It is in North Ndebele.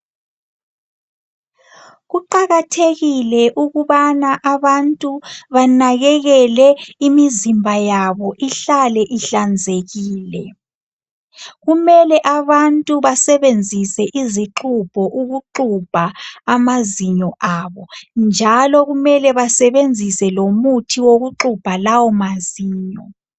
Kuqakathekile ukubana abantu banakekele imizimba yabo ihlale ihlanzekile kumele abantu basebenzise izixubho ukuxubha amazinyo abo njalo kumele basebenzise lomuthi wokuxubha lawo amazinyo.